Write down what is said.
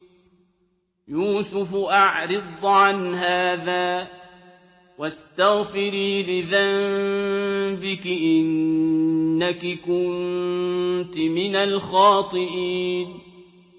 يُوسُفُ أَعْرِضْ عَنْ هَٰذَا ۚ وَاسْتَغْفِرِي لِذَنبِكِ ۖ إِنَّكِ كُنتِ مِنَ الْخَاطِئِينَ